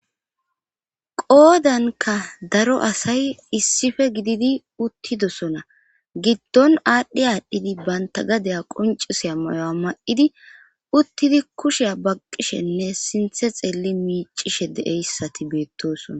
Qoodanka daro asay issife gididi uttidosona giddon aadhdhi aadhdhidi banta gadaya quncisiya moyo'a ma'idi uttidi kushiya baqqishenne siinththe xeelli miicishe deeyssati beettosona